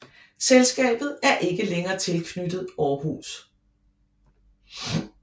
Selskabet er ikke længere tilknyttet Aarhus